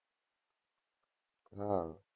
હા.